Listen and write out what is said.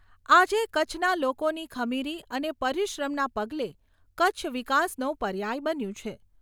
આજે કચ્છના લોકોની ખમીરી અને પરિશ્રમના પગલે કચ્છ વિકાસનો પર્યાય બન્યું છે.